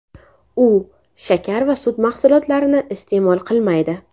U shakar va sut mahsulotlarini iste’mol qilmaydi.